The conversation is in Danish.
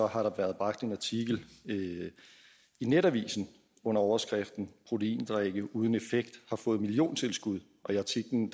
har der været bragt en artikel i netavisen under overskriften proteindrikke uden effekt har fået milliontilskud i artiklen